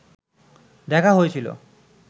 দেখা হয়েছিল